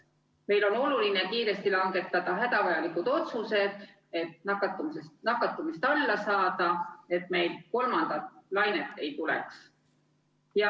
Meil on oluline kiiresti langetada hädavajalikud otsused, et nakatumist vähendada, et meil kolmandat lainet ei tuleks.